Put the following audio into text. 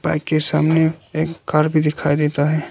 Bike के सामने एक कार भी दिखाई देता है।